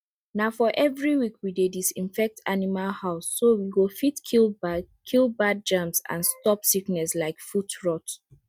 na for every week we dey disinfect animal houseso we go fit kill bad kill bad germs and stop sickness like foot rot